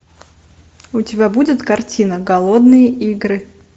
у тебя будет картина голодные игры